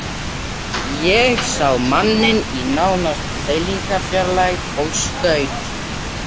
Ég sá manninn nánast í seilingarfjarlægð og skaut.